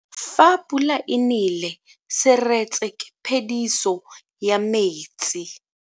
Fa pula e nele seretse ke phediso ya metsi.